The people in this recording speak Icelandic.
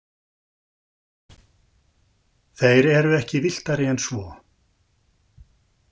Þeir eru ekki villtari en svo.